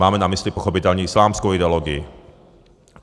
Máme na mysli pochopitelně islámskou ideologii.